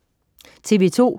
TV2: